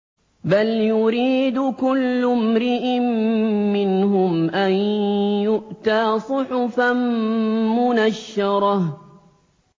بَلْ يُرِيدُ كُلُّ امْرِئٍ مِّنْهُمْ أَن يُؤْتَىٰ صُحُفًا مُّنَشَّرَةً